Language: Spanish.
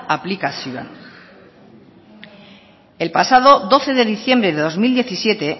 aplikazioan el pasado doce de diciembre de dos mil diecisiete